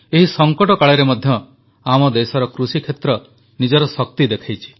ଏହି ସଂକଟକାଳରେ ମଧ୍ୟ ଆମ ଦେଶର କୃଷିକ୍ଷେତ୍ର ନିଜର ଶକ୍ତି ଦେଖାଇଛି